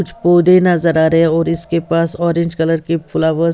कुछ पोदे नजर आ रहे हैं और इसके पास ऑरेंज कलर के फ्लावर्स --